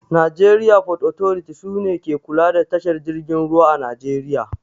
Najeriya fot otoriti sune ke kula da tashar jirgin ruwa a najeriya